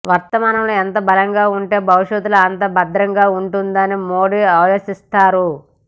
వర్తమానంలో ఎంత బలంగా ఉంటే భవిష్యత్తు అంత భద్రంగా ఉంటుందని మోడీ ఆలోచిస్తారు